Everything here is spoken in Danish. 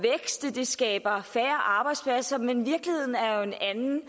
det skaber færre arbejdspladser men virkeligheden er jo en anden